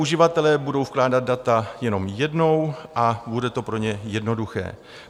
Uživatelé budou vkládat data jenom jednou a bude to pro ně jednoduché.